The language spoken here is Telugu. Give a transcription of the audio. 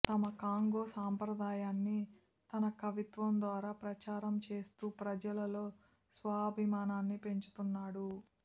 తమ కాంగో సంప్రదాయాన్ని తన కవిత్వం ద్వారా ప్రచారం చేస్తూ ప్రజలలో స్వాభిమానాన్ని పెంచుతున్నాడు